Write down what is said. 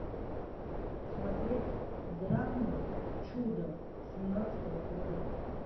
смотреть драму чудо семнадцатого года